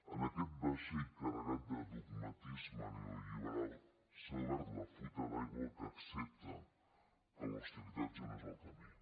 en aquest vaixell carregat de dogmatisme neolliberal s’ha obert la fuita d’aigua que accepta que l’austeritat ja no és el camí